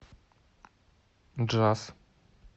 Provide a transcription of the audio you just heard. джаз